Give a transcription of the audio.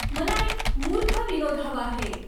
मला एक मूर्ख विनोद हवा आहे